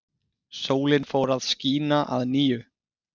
Sólin fór að skína að nýju.